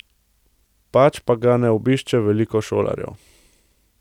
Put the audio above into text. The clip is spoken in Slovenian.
Pač pa ga ne obišče veliko šolarjev.